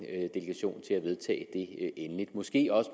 delegation til at vedtage den endeligt måske også